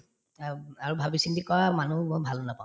of আৰু ভাবি চিন্তি কৰা মানুহো মই ভাল নাপাওঁ